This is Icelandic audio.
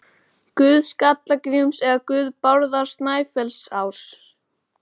Guð Skalla-Gríms, eða guð Bárðar Snæfellsáss?